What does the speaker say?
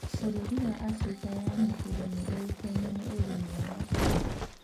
Bũrũri wa Afrika ya Mũhuro nĩ yũikaine nĩ ũrĩmi wa macungwa